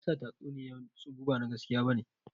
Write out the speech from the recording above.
Meyasa tatsuniyan tsubu ba na gaskiya bane?